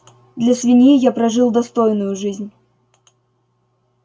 для свиньи я прожил достойную жизнь